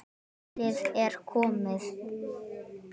Kallið er komið